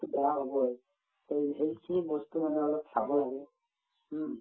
to বেয়া হবয়ে এই সেইখিনি বস্তু মানুহে অলপ চাব লাগে হুম